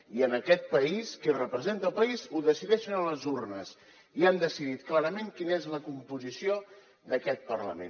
i en aquest país qui representa el país ho decideixen les urnes i han decidit clarament quina és la composició d’aquest parlament